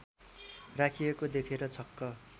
राखिएको देखेर छक्क